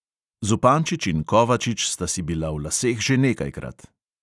Zupančič in kovačič sta si bila v laseh že nekajkrat.